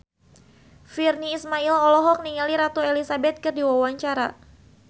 Virnie Ismail olohok ningali Ratu Elizabeth keur diwawancara